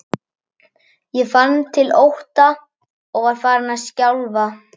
Ég fann til ótta og var farin að skjálfa.